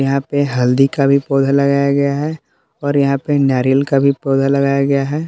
यहां पे हल्दी का भी पौधा लगाया गया है और यहां पे नारियल का भी पौधा लगाया गया है।